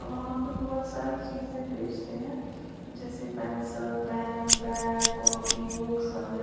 वहां पे बहोत सारी चीज बेचते हैं। जैसे pencil pen bag copy books वगै--